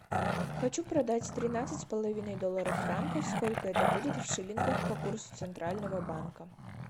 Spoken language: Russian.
хочу продать тринадцать с половиной долларов франков сколько это будет в шиллингах по курсу центрального банка